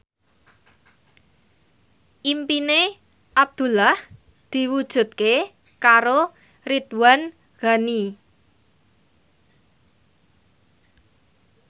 impine Abdullah diwujudke karo Ridwan Ghani